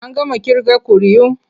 An gama ƙirga ƙuri'u.